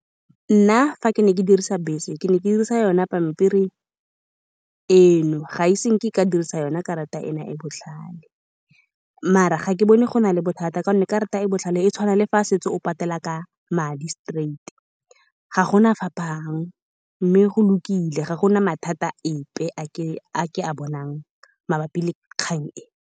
Nna, fa ke ne ke dirisa bese, ke ne ke dirisa yone pampiri eno, ga e se nke ka dirisa yone karata eno e e botlhale, mare ga ke bone go na le bothata, ka gonne karata e e botlhale e tshwana le fa setse o patela ka madi straight-i, ga gona phapang, mme go lokile. Ga gona mathata ape a ke a bonang mabapi le kgang e.